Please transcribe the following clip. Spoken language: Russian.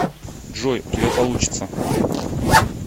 джой у тебя получится